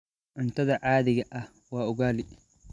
Cuntadayda caadiga ah waa ugali.